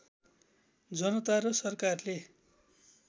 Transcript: जनता र सरकारले